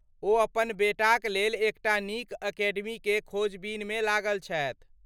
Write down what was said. ओ अपन बेटाक लेल एकटा नीक अकेडमीकेँ खोजबीनमे लागल छथि।